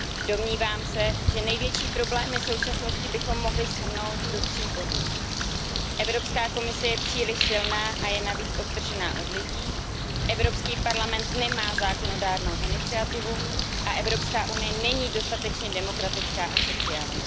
Domnívám se, že největší problémy současnosti bychom mohli shrnout do tří bodů Evropská komise je příliš silná a je navíc odtržená od lidí, Evropský parlament nemá zákonodárnou iniciativu a Evropská unie není dostatečně demokratická a sociální.